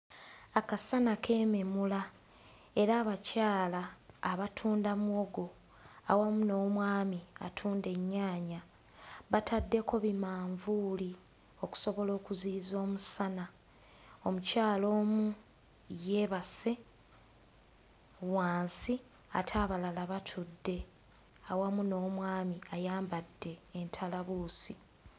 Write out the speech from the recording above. Akasana keememula era abakyala abatunda muwogo awamu n'omwami atunda ennyaanya bataddeko bimanvuuli okusobola okuziyiza omusana. Omukyala omu yeebase wansi ate abalala batudde awamu n'omwami ayambadde entalabuusi.